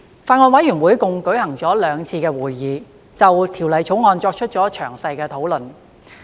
法案委員會共舉行了2次會議，就《條例草案》作出詳細討論。